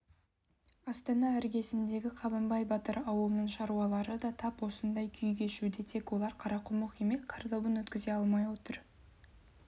астана іргесіндегі қабандай батыр ауылының шаруалары да тап осындай күй кешуде тек олар қарақұмық емес картобын өткізе алмай отыр